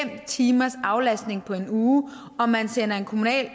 timers aflastning på en uge og man sender en kommunalt